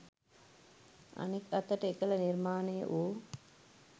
අනෙක් අතට එකල නිර්මාණය වූ